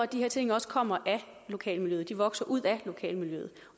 de her ting også kommer af lokalmiljøet at de vokser ud af lokalmiljøet